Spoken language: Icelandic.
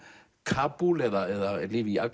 Kabúl eða lífið í